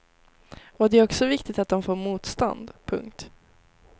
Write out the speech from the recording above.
Och det är också viktigt att de får motstånd. punkt